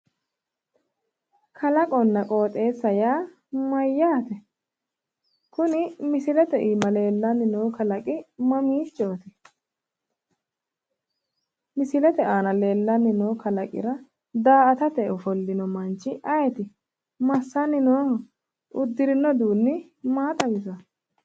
Kalaqonna qooxeessaho yaa mayyaate? Kuni misilete iima leellanni noo kalaqi mamiichooti? Misilete aana leellanni noo kalaqira daa"atate ofollino manchi ayeeti? Massanni nooho? Uddirinno udiinni maa xawisanno?